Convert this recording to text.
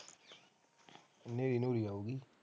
ਹਨੇਰੀ ਹਨੁਰੀ ਆਉਂਗੀ